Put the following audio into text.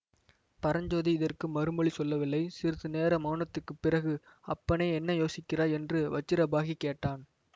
பரஞ்சோதி இதற்கு மறுமொழி சொல்லவில்லை சிறிது நேர மௌனத்துக்குப் பிறகு அப்பனே என்ன யோசிக்கிறாய் என்று வஜ்ரபாஹு கேட்டான்